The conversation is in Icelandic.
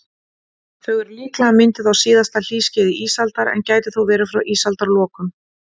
Þau eru líklega mynduð á síðasta hlýskeiði ísaldar, en gætu þó verið frá ísaldarlokum.